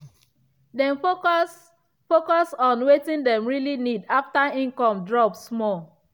dem focus focus on wetin dem really need after income drop small.